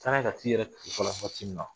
Taara n'a ye ka t'i yɛrɛ waati min na